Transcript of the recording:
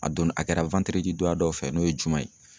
A don a kɛra don ya dɔw fɛ n'o ye juman ye.